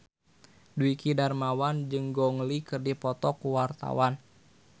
Dwiki Darmawan jeung Gong Li keur dipoto ku wartawan